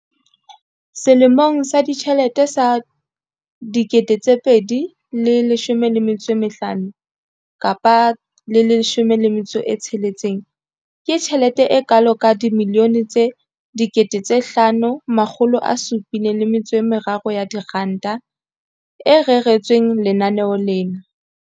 Selemong sa ditjhelete sa 2015 kapa 16, ke tjhelete e kalo ka R5 703 bilione e reretsweng lenaneo lena.